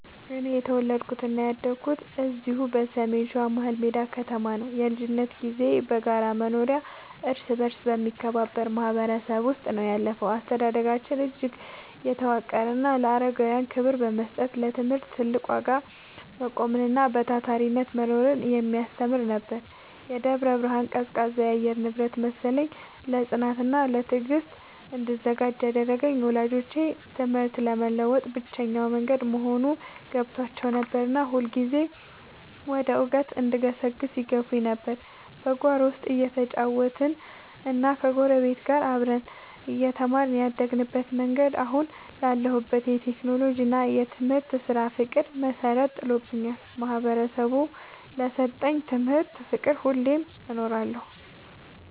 እኔ የተወለድኩትና ያደግኩት እዚሁ በሰሜን ሸዋ፣ መሀልሜዳ ከተማ ነው። የልጅነት ጊዜዬ በጋራ መኖሪያና እርስ በርስ በመከባበር ማህበረሰብ ውስጥ ነው ያለፈው። አስተዳደጋችን እጅግ የተዋቀረና ለአረጋውያን ክብር መስጠትን፣ ለትምህርት ትልቅ ዋጋ መቆምንና በታታሪነት መኖርን የሚያስተምር ነበር። የደብረ ብርሃን ቀዝቃዛ የአየር ንብረት መሰለኝ፣ ለጽናትና ለትዕግስት እንድዘጋጅ ያደረገኝ። ወላጆቼ ትምህርት የለውጥ ብቸኛው መንገድ መሆኑን ገብቷቸው ነበርና ሁልጊዜም ወደ እውቀት እንድገሰግስ ይገፋፉኝ ነበር። በጓሮ ውስጥ እየተጫወትንና ከጎረቤቶች ጋር አብረን እየተማርን ያደግንበት መንገድ፣ አሁን ላለሁበት የቴክኖሎጂና የትምህርት ስራ ፍቅር መሰረት ጥሎልኛል። ማህበረሰቡ ለሰጠኝ ትምህርትና ፍቅር ሁሌም እኖራለሁ።